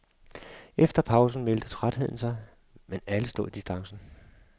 Efter pausen meldte trætheden sig, men alle stod distancen.